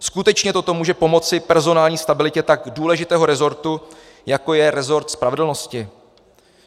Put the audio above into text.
Skutečně toto může pomoci personální stabilitě tak důležitého rezortu, jako je rezort spravedlnosti?